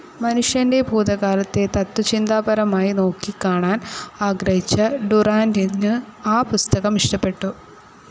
മനുഷ്യന്റെ ഭൂതകാലത്തെ തത്ത്വചിന്താപരമായി നോക്കിക്കാണാൻ ആഗ്രഹിച്ച ഡുറാന്റിന് ആ പുസ്തകം ഇഷ്ടപ്പെട്ടു.